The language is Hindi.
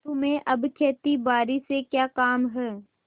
तुम्हें अब खेतीबारी से क्या काम है